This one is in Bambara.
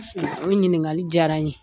O ɲiningali diyara n ye.